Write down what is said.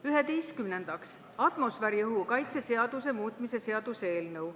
Üheteistkümnendaks, atmosfääriõhu kaitse seaduse muutmise seaduse eelnõu.